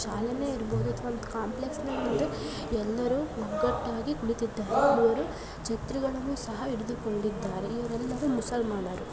ಶಾಲೇನೆ ಇರಬಹುದು ಅಥವಾ ಕಾಂಪ್ಲೆಕ್ಸ್ ಇರಬಹುದು ಎಲ್ಲರೂ ಒಗ್ಗಟ್ಟಾಗಿ ಕುಳಿತಿದ್ದಾರೆ ಛತ್ರಿಗಳನ್ನು ಸಹ ಹಿಡಿದುಕೊಂಡಿದ್ದಾರೆ ಇವರೆಲ್ಲರೂ ಮುಸಲ್ಮಾನರು--